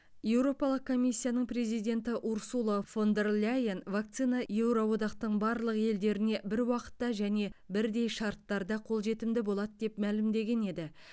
еуропалық комиссияның президенті урсула фон дер ляйен вакцина еуроодақтың барлық елдеріне бір уақытта және бірдей шарттарда қолжетімді болады деп мәлімдеген еді